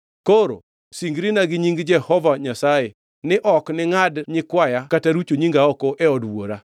Koro singrina gi nying Jehova Nyasaye ni ok ningʼad nyikwaya kata rucho nyinga oko e od wuora.”